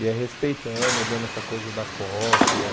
E é respeitando, é dando essa coisa da cópia.